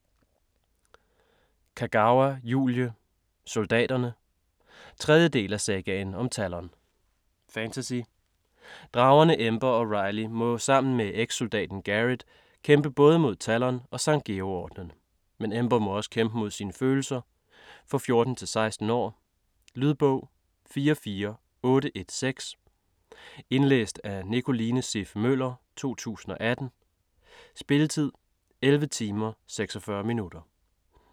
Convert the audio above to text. Kagawa, Julie: Soldaterne 3. del af Sagaen om Talon. Fantasy. Dragerne Ember og Riley må sammen med ekssoldaten Garret kæmpe både mod Talon og Sankt Georg-ordenen. Men Ember må også kæmpe mod sine følelser. For 14-16 år. Lydbog 44816 Indlæst af Nicoline Siff Møller, 2018. Spilletid: 11 timer, 46 minutter.